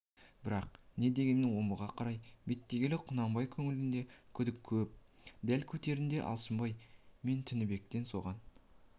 бірақ не дегенмен омбыға қарай беттегелі құнанбай көңілінде күдік көп дәл кетерінде алшынбай мен тінібекке соған